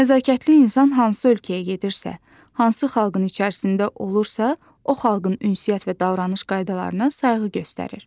Nəzakətli insan hansı ölkəyə gedirsə, hansı xalqın içərisində olursa, o xalqın ünsiyyət və davranış qaydalarına sayğı göstərir.